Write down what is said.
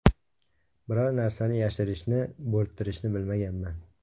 Biror narsani yashirishni, bo‘rttirishni bilmaganman.